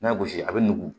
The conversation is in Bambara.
N'a gosi a bɛ nugu